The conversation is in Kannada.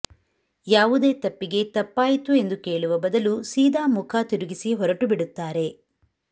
ಯಾವುದೇ ತಪ್ಪಿಗೆ ತಪ್ಪಾಯಿತು ಎಂದು ಕೇಳುವ ಬದಲು ಸೀದಾ ಮುಖ ತಿರುಗಿಸಿ ಹೊರಟು ಬಿಡುತ್ತಾರೆ